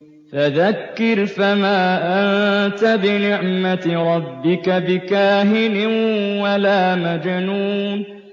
فَذَكِّرْ فَمَا أَنتَ بِنِعْمَتِ رَبِّكَ بِكَاهِنٍ وَلَا مَجْنُونٍ